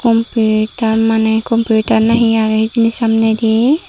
kompi ekkan maney kompiutar na hi agey hijeni samnedi.